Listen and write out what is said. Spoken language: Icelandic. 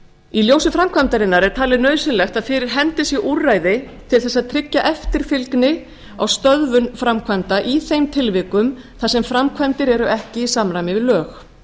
í ljósi framkvæmdarinnar er talið nauðsynlegt að fyrir hendi sé úrræði til að tryggja eftirfylgni á stöðvun framkvæmda í þeim tilvikum þar sem framkvæmdir eru ekki í samræmi við lög